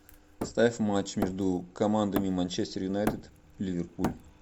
ставь матч между командами манчестер юнайтед ливерпуль